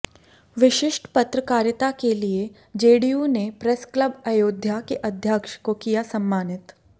विशिष्ट पत्रकारिता के लिए जेडीयू ने प्रेस क्लब अयोध्या के अध्यक्ष को किया सम्मानित